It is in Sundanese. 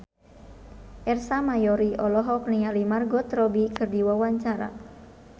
Ersa Mayori olohok ningali Margot Robbie keur diwawancara